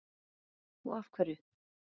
Helga: Og af hverju?